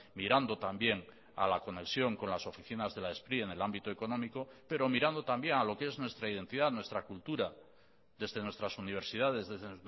mirando también a la conexión con las oficinas de la spri en el ámbito económico pero mirando también a lo que es nuestra identidad nuestra cultura desde nuestras universidades desde